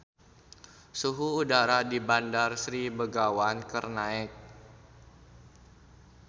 Suhu udara di Bandar Sri Begawan keur naek